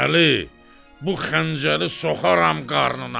Əli, bu xəncəli soxaram qarnına!